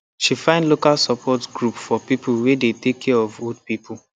she find local support group for people wey dey take care of old people